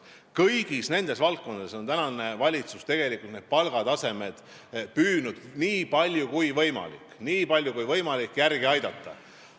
Kõigis nendes valdkondades on tänane valitsus püüdnud palgataset nii palju kui võimalik – nii palju kui võimalik – järele aidata.